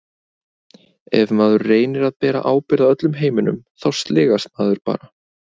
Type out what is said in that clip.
Ef maður reynir að bera ábyrgð á öllum heiminum þá sligast maður bara.